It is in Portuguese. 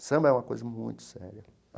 O samba é uma coisa muito séria.